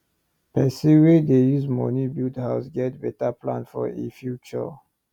person wen dey use money build house get better plan for e future